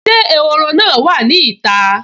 Ṣé ehoro náà wà ní ìta?